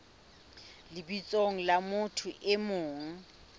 lebitsong la motho e mong